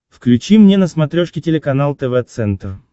включи мне на смотрешке телеканал тв центр